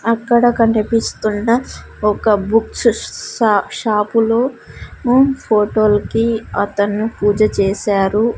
అక్కడ కనిపిస్తున్న ఒక బుక్స్ షా షాపులో ఉం ఫోటోల్కి అతను పూజ--